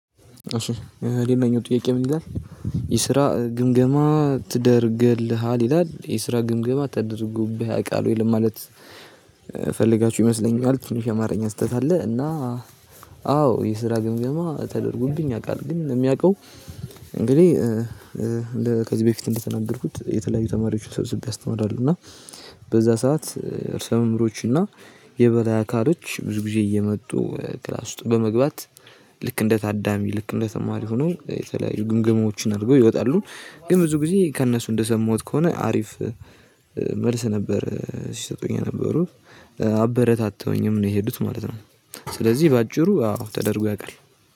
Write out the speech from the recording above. እሺ ሌላኛው ጥያቄ ምን ይላል? የስራ ግምገማ ትደርግልሃል ይላል የስራ ግምገማ ተደርጎብህ ያቃል ወይ ለማለት? ፈልጋችሁ ይመስለኛል ትንሽ የአማርኛ ስህተት አለ። እና አዎ የስራ ግምገማ ተደርጎብኝ ያውቃል ግን የሚያውቀው። እንግዲህ ከዚህ በፊት እንደተናገርኩት የተለያዩ ተማሪዎችን ሰብስቤ አስተምራለው። እና በዛ ሰዓት ርዕሰ መምህሮች እና የበላይ አካሎች ብዙ ጊዜ እየመጡ ክላስ ውስጥ በመግባት። ልክ እንደ ታዳሚ ልክ እንደ ተማሪ ሆነው የተለያዩ ግምገማዎችን አድርገው ይወጣሉ። ግን ብዙ ጊዜ ከእነሱ እንደሰማሁት ከሆነ አሪፍ መልስ ነበር ሲሰጡኝ የነበሩ አበረታተውኝም ነው የሄዱት ማለት ነው። ስለዚህ በአጭሩ አዎ ተደርጎ ያውቃል።